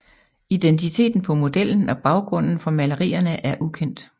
Identiteten på modellen og baggrunden for malerierne er ukendt